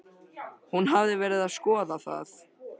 Hún hafði verið að skoða það.